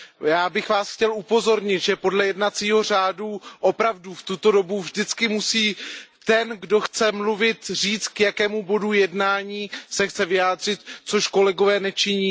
Já bych Vás chtěl upozornit, že podle jednacího řádu opravdu v tuto dobu vždycky musí ten, kdo chce mluvit, říct, k jakému bodu jednání se chce vyjádřit, což kolegové nečiní.